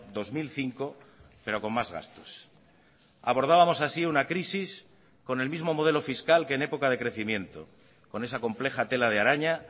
dos mil cinco pero con más gastos abordábamos así una crisis con el mismo modelo fiscal que en época de crecimiento con esa compleja tela de araña